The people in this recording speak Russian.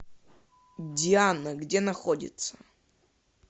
диана где находится